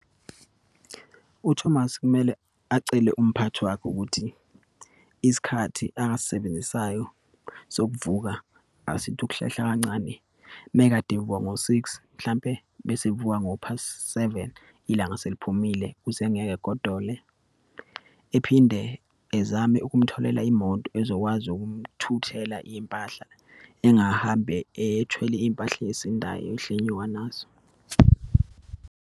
UThomas kumele acele umphathi wakhe ukuthi isikhathi akasisebenzisayo sokuvuka, asithi ukuhlehla kancane. Uma kade evuka ngo-six, mhlampe bese evuka ngo-past seven, ilanga seliphumile ukuze engeke egodole. Ephinde ezame ukumtholela imoto ezokwazi ukumthuthela iyimpahla, engahambi ethwele iyimpahla eyisindayo, ehla enyuka nazo.